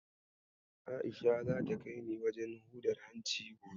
A'isha zata kai ni wajen hudar hanci gobe.